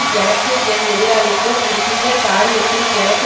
எனக்கும் என் எதிராளிக்கும் இருக்கின்ற காரியத்தில் எனக்கு